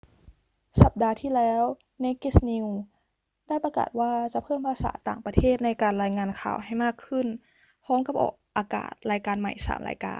สัปดาห์ที่แล้ว naked news ได้ประกาศว่าจะเพิ่มภาษาต่างประเทศในการรายงานข่าวให้มากขึ้น พร้อมกับออกอากาศรายการใหม่ 3 รายการ